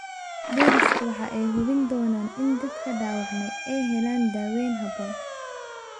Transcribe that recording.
Booliisku waxa ay hubin doonaan in dadka dhaawacmay ay helaan daaweyn habboon.